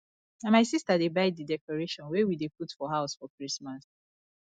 na my sister dey buy di decoration wey we dey put for house for christmas